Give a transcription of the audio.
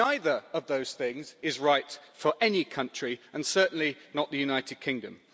Neither of those things is right for any country and certainly not the United Kingdom.